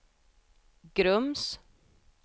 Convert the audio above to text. Grums